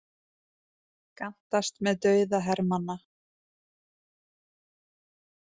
Gantast með dauða hermanna